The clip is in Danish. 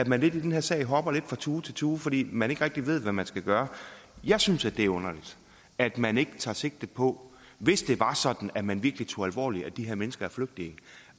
man i den her sag hopper fra tue til tue fordi man ikke rigtig ved hvad man skal gøre jeg synes det er underligt at man ikke tager sigte på hvis det var sådan at man virkelig tog alvorligt at de her mennesker er flygtninge